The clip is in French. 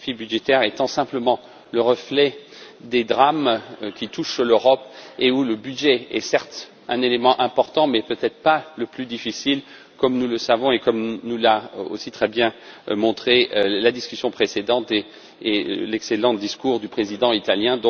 Mais les défis budgétaires sont simplement le reflet des drames qui touchent l'Europe, le budget étant, certes, un élément important, mais peut être pas le plus difficile, comme nous le savons et comme nous l'a aussi très bien montré la discussion précédente ainsi que l'excellent discours du président italien.